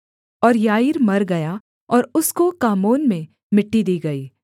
और याईर मर गया और उसको कामोन में मिट्टी दी गई